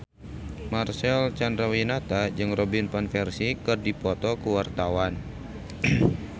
Marcel Chandrawinata jeung Robin Van Persie keur dipoto ku wartawan